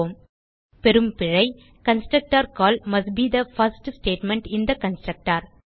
பெறும் பிழை constructor call must be the first statement in the constructor